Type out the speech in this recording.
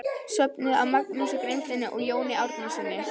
Söfnuð af Magnúsi Grímssyni og Jóni Árnasyni.